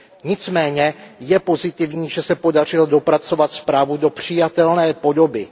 Nicméně je pozitivní, že se podařilo dopracovat zprávu do přijatelné podoby.